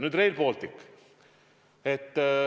Nüüd Rail Baltic.